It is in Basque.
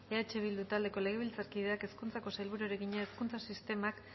eh bildu taldeko legebiltzarkideak hezkuntzako sailburuari egina hezkuntza sistemak